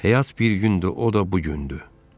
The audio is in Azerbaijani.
Həyat bir gündür, o da bu gündür.